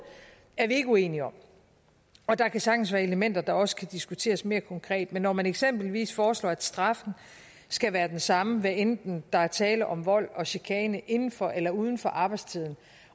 er vi ikke uenige om der kan sagtens være elementer der også kan diskuteres mere konkret men når man eksempelvis foreslår at straffen skal være den samme hvad enten der er tale om vold eller chikane inden for eller uden for arbejdstiden